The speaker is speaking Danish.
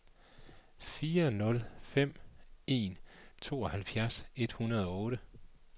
fire nul fem en tooghalvfjerds et hundrede og otte